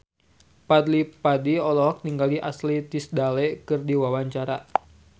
Fadly Padi olohok ningali Ashley Tisdale keur diwawancara